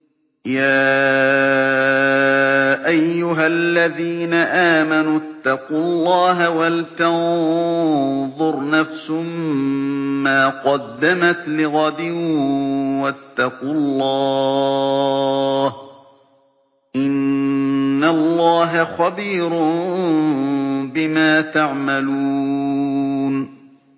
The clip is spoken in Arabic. يَا أَيُّهَا الَّذِينَ آمَنُوا اتَّقُوا اللَّهَ وَلْتَنظُرْ نَفْسٌ مَّا قَدَّمَتْ لِغَدٍ ۖ وَاتَّقُوا اللَّهَ ۚ إِنَّ اللَّهَ خَبِيرٌ بِمَا تَعْمَلُونَ